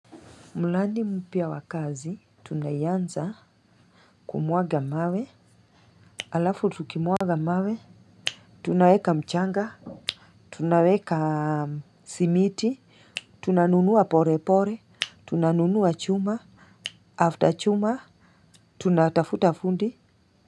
Mladi mpya wa kazi tunaianza kumwaga mawe, alafu tukimwaga mawe, tunaweka mchanga, tunaweka simiti, tunanunua pore pore, tunanunua chuma, after chuma, tunatafuta fundi.